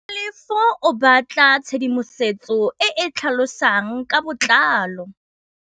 Tlhalefô o batla tshedimosetsô e e tlhalosang ka botlalô.